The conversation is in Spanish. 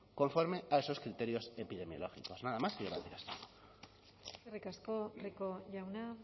conforme a esos criterios epidemiológicos nada más y gracias eskerrik asko rico jauna